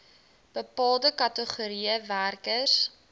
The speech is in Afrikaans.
bepaalde kategorieë werkers